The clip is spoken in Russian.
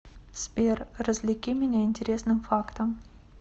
сбер развлеки меня интересным фактом